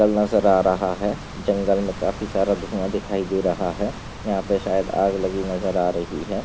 नजर आ रहा है जंगल मे काफी सारा धुआ दिखाई दे रहा है यहा पे शायद आग लगी नजर आ रही है।